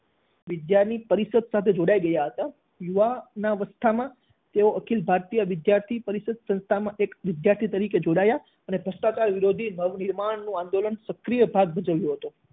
વિદ્યા ની પરિષદ સાથે જોડાઈ ગયા હતા. યુવાનાવસ્થામાં તેઓ અખિલ ભારતીય વિદ્યાર્થી પરિષદ સંસ્થામાં એક વિદ્યાર્થી તરીકે જોડાયા અને ભ્રષ્ટાચાર વિરોધી નવનિર્માણ આંદોલનમાં સક્રિય ભાગ ભજવ્યો હતો.